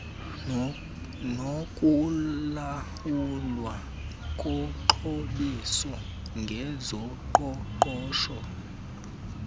nokulawulwa koxhobiso ngezoqoqosho